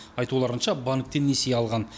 айтуларынша банктен несие алған